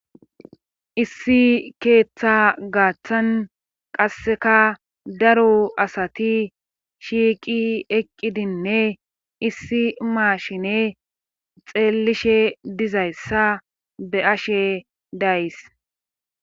Issi keeththa gaaththan qasseka daru asati shiiqi eqqidinne issi maashine xeellishe dizayssa be ashe dayys.